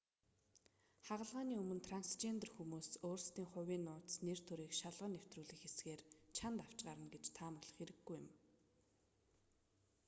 хагалгааны өмнө трансжендер хүмүүс өөрсдийн хувийн нууц нэр төрийг шалган нэвтрүүлэх хэсгээр чанд авч гарна гэж таамаглах хэрэггүй юм